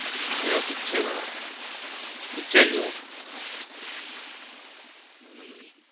ક્યાં picture માં picture જેવો?